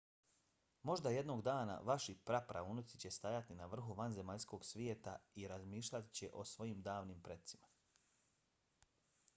možda jednog dana vaši pra praunuci će stajati na vrhu vanzemaljskog svijeta i razmišljat će o svojim davnim precima?